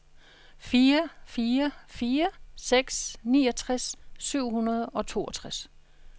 fire fire fire seks niogtres syv hundrede og toogtres